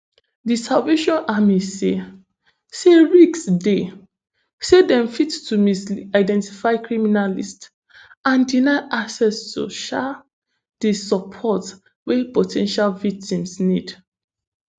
di salvation army say say risk dey say dem fit to misidentify criminalist and deny access to um di support wey po ten tial victims need